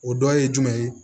O dɔ ye jumɛn ye